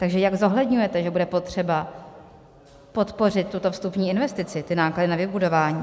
Takže jak zohledňujete, že bude potřeba podpořit tuto vstupní investici, ty náklady na vybudování?